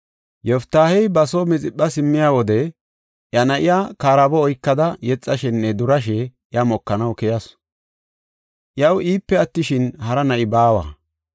Yoftaahey ba soo Mixipha simmiya wode iya na7iya karaabo oykada yexashenne durashe iya mokanaw keyasu. Iyaw iipe attishin, hara na7i baawa.